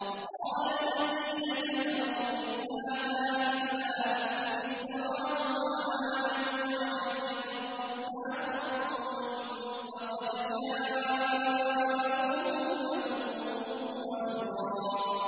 وَقَالَ الَّذِينَ كَفَرُوا إِنْ هَٰذَا إِلَّا إِفْكٌ افْتَرَاهُ وَأَعَانَهُ عَلَيْهِ قَوْمٌ آخَرُونَ ۖ فَقَدْ جَاءُوا ظُلْمًا وَزُورًا